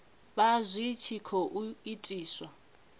vha zwi tshi khou itiswa